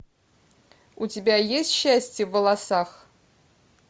у тебя есть счастье в волосах